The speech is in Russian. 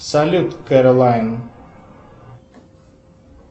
салют кэролайн